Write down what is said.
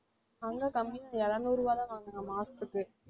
அங்க கம்மியா இறுநூறுரூபா தான் வாங்கறான் மாசத்துக்கு